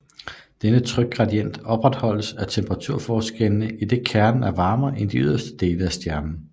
Denne trykgradient opretholdes af temperaturforskellene idet kernen er varmere end de ydre dele af stjernen